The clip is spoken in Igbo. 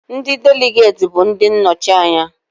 Ndị Deligeti bụ ndị nnọchi anya